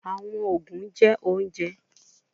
Awọn oogun jẹ ounjẹ